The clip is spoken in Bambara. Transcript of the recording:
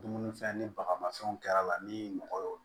Dumunifɛn ni baga mafɛnw kɛr'a la ni mɔgɔ y'o